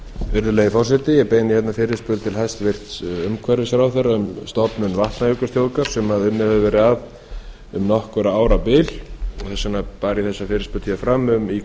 virðulegi forseti ég beini fyrirspurn til hæstvirts umhverfisráðherra um stofnun vatnajökulsþjóðgarðs sem unnið hefur verið að um nokkurra ára bil þess vegna bar ég þessa fyrirspurn fram í